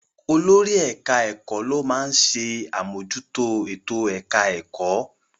Olórí ẹ̀ka-ẹ̀kọ́ ló máa ń ṣe àmójútó ètò-ẹ̀ka ẹ̀kọ́.